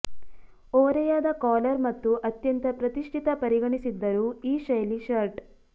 ಓರೆಯಾದ ಕಾಲರ್ ಮತ್ತು ಅತ್ಯಂತ ಪ್ರತಿಷ್ಠಿತ ಪರಿಗಣಿಸಿದ್ದರು ಈ ಶೈಲಿ ಶರ್ಟ್